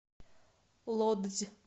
лодзь